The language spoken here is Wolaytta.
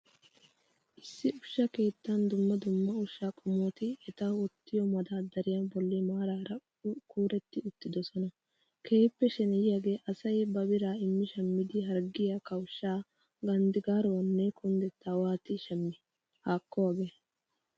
Issi ushsha keettan dumma dumma ushsha qommoti eta wottiyo maddardariya bolli maarara kuretti uttidosonna. Keehiippe sheneyiyaagee asay ba biraa immi shammidi harggiya, kawushaa, ganddigaaruwaanne kundettaa waati shamii? Haakko hagee!!